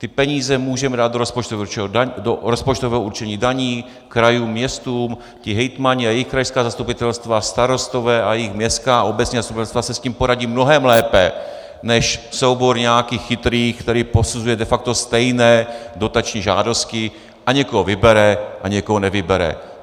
Ty peníze můžeme dát do rozpočtového určení daní, krajům, městům, ti hejtmani a jejich krajská zastupitelstva, starostové a jejich městská a obecní zastupitelstva si s tím poradí mnohem lépe než soubor nějakých chytrých, který posuzuje de facto stejné dotační žádosti a někoho vybere a někoho nevybere.